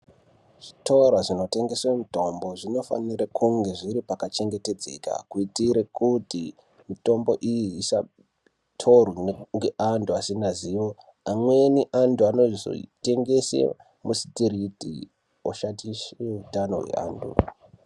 Zvitoro zvinotengese mitombo zvinofanire kunge zviri pakachengetedzeka kuitire kuti mitombo iyi isatorwe ngeanhu asinazvivo amweni anhu anozoitengese musitiriti oshatishe utano hweanhu.